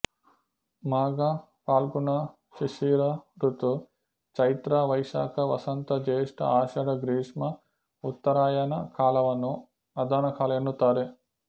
ಮಾಘ ಫಾಲ್ಗುಣಶಿಶಿರಋತು ಚೈತ್ರ ವೈಶಾಖ ವಸಂತ ಜೇಷ್ಟ ಆಶಾಢ ಗ್ರೀಷ್ಮ ಉತ್ತರಾಯಣಕಾಲವನ್ನು ಅದಾನ ಕಾಲ ಎನ್ನುತ್ತಾರೆ